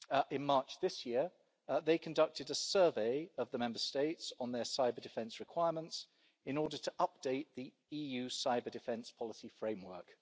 In March this year, they conducted a survey of the Member States on their cyber-defence requirements in order to update the EU cyber-defence policy framework.